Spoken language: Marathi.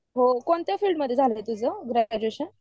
कोणत्या फिल्ड मध्ये झालं तुझं एज्युकेशन?